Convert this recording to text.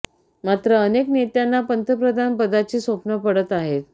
मात्र अनेक नेत्यांना पंतप्रधान पदाची स्वप्न पडत आहेत